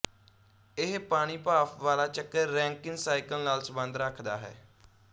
ਇਹ ਪਾਣੀਭਾਫ਼ ਵਾਲਾ ਚੱਕਰ ਰੈਂਕਿਨ ਸਾਈਕਲ ਨਾਲ ਸਬੰਧ ਰੱਖਦਾ ਹੈ